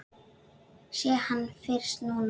Sé hann fyrst núna.